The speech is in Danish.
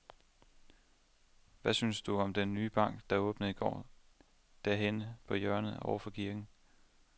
Hvad synes du om den nye bank, der åbnede i går dernede på hjørnet over for kirken?